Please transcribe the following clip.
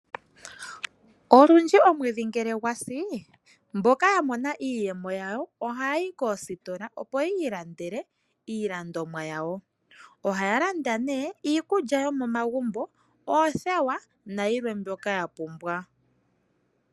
Olundji omwedhi ngele gwasi mboka yamona iiyemo yawo ohayayi koositola opo yi ilandele iilandomwa yawo. Ohaya landa nee iikulya yomomagumbo, oothewa nayilwe mbyoka ya pumbwa .